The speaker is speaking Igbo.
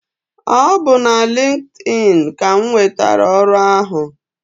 Ọ bu na LinkedIn ka m nwetara ọrụ ahụ.